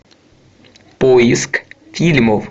поиск фильмов